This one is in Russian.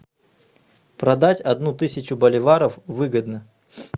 продать одну тысячу боливаров выгодно